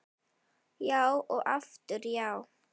Já og aftur já.